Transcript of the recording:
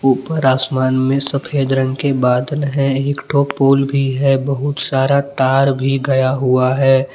ऊपर आसमान में सफेद रंग के बादल हैं एक ठो पुल भी है बहुत सारा तार भी गया हुआ है।